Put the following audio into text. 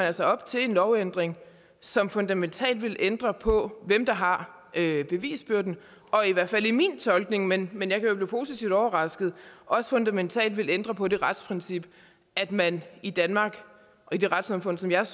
altså op til en lovændring som fundamentalt vil ændre på hvem der har har bevisbyrden og i hvert fald i min tolkning men men jeg kan jo blive positivt overrasket også fundamentalt vil ændre på det retsprincip at man i danmark og i det retssamfund som jeg